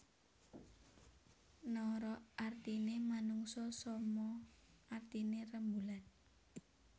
Nara artiné manungsa soma artiné rembulan